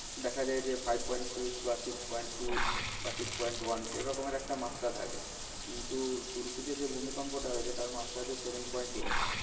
দেখা যায় যে five point six বা six point two বা six point one এরকমের একটা মাত্রা থাকে। কিন্তু তুর্কিতে যে ভূমিকম্পটা হয়েছে তার মাত্রা হচ্ছে seven point eight